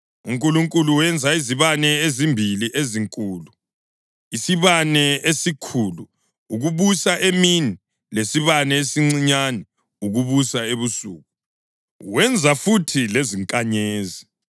UNkulunkulu wenza izibane ezimbili ezinkulu, isibane esikhulu ukubusa emini lesibane esincinyane ukubusa ebusuku. Wenza futhi lezinkanyezi.